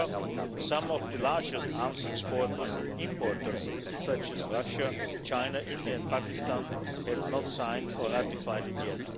However, some of the largest arms exporters and importers, such as Russia, China, India and Pakistan have not signed or ratified it